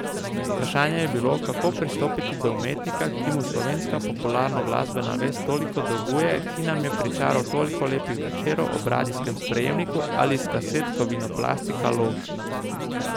Vprašanje je bilo, kako pristopiti do umetnika, ki mu slovenska popularnoglasbena vest toliko dolguje, ki nam je pričaral toliko lepih večerov ob radijskem sprejemniku ali s kaset Kovinoplastika Lož.